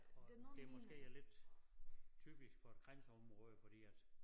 Det måske er lidt typiske for et grænseområde fordi at